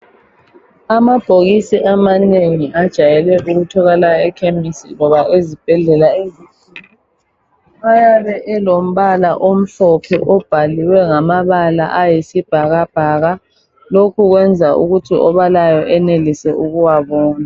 Amabhokisi amanengi ajayele ukutholakala ekhemisi loba ezibhedlela ayabe elombala omhlophe obhalwe ngamabala ayisibhakabhaka lokho kwenza ukuthi obalayo enelise ukuwabona.